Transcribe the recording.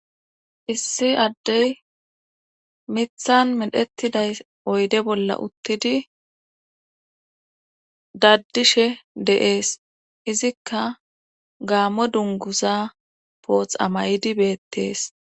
issi addey mithan medhettiday oyde bolla uttidi daddishe deees izikka gaammo dunguza pooth amaydi beettees